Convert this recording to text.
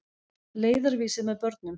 Leiðarvísir með börnum.